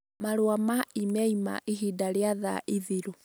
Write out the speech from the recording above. Marũa ma I-Mel ma Ihinda rĩa Thaa Ithiru